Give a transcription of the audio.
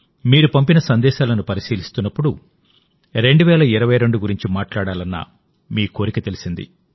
మీరు పంపిన సందేశాలను పరిశీలిస్తున్నప్పుడు 2022పై మాట్లాడాలన్న మీ కోరిక తెలిసింది